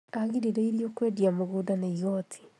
Agirĩrĩirio kwendia mũgũnda nĩ igoti